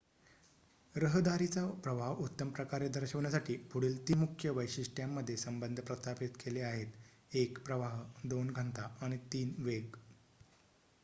रहदारीचा प्रवाह उत्तमप्रकारे दर्शवण्यासाठी पुढील ३ मुख्य वैशिष्ट्यांमध्ये संबंध प्रस्थापित केले आहेत: १ प्रवाह २ घनता आणि ३ वेग